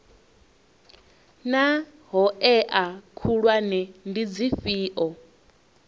naa hoea khulwane ndi dzifhio